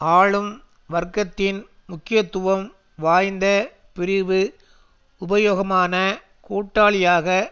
ஆளும் வர்க்கத்தின் முக்கியத்துவம் வாய்ந்த பிரிவு உபயோகமான கூட்டாளியாக